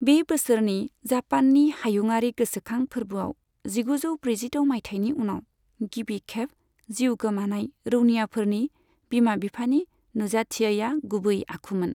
बे बोसोरनि जापाननि हायुंआरि गोसोखां फोर्बोआव जिगुजौ ब्रैजिद' माइथायनि उनाव गिबि खेब जिउ गोमानाय रौनियाफोरनि बिमा बिफानि नुजाथियैआ गुबै आखुमोन।